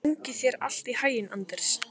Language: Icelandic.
Gangi þér allt í haginn, Anders.